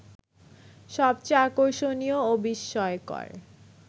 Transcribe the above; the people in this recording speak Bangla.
সবচেয়ে আকর্ষণীয় ও বিস্ময়কর